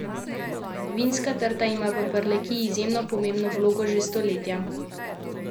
Vinska trta ima v Prlekiji izjemno pomembno vlogo že stoletja.